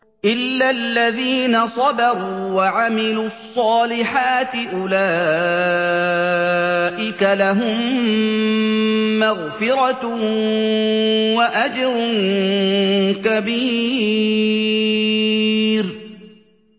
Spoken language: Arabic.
إِلَّا الَّذِينَ صَبَرُوا وَعَمِلُوا الصَّالِحَاتِ أُولَٰئِكَ لَهُم مَّغْفِرَةٌ وَأَجْرٌ كَبِيرٌ